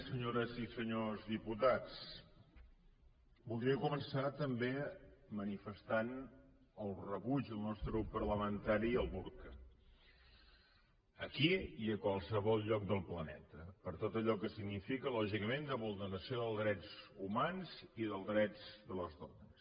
senyores i senyors diputats voldria començar també manifestant el rebuig del nostre grup parlamentari al burca aquí i a qualsevol lloc de planeta per tot allò que significa lògicament de vulneració dels drets humans i dels drets de les dones